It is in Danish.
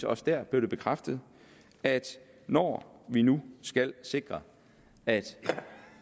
også der blev bekræftet at når vi nu skal sikre at